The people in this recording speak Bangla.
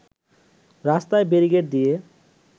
রাস্তায় ব্যারিকেড দিয়ে